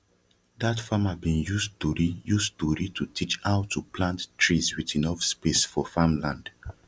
dat farmer bin use story use story to teach how to plant trees with enough space for farm land